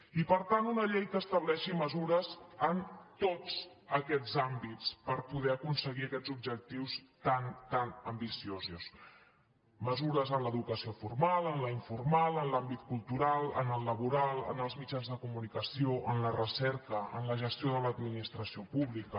i per tant una llei que estableixi mesures en tots aquests àmbits per poder aconseguir aquests objectius tan tan ambici·osos mesures en l’educació formal en la informal en l’àmbit cultural en el laboral en els mitjans de comu·nicació en la recerca en la gestió de l’administració pública